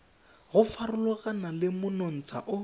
go farologana le monontsha o